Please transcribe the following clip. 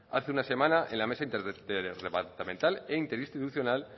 hace una semana en la mesa interdepartamental e interinstitucional